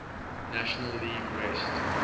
national league west